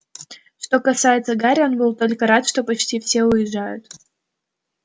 что касается гарри он был только рад что почти все уезжают